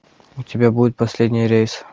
у тебя будет последний рейс